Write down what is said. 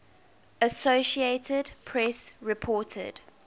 associated press reported